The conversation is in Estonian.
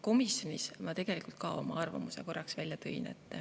Komisjonis ma tõin tegelikult ka oma arvamuse välja.